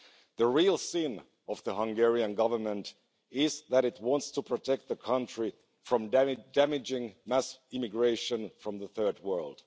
The real sin of the Hungarian Government is that it wants to protect the country from damaging mass immigration from the Third World.